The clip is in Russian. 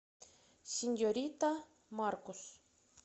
сеньорита маркус